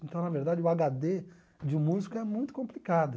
Então, na verdade, o aga dê de um músico é muito complicado.